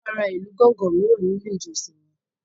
A máa ra ìlú gánganmìíràn ní ilé ìjọsìn wa.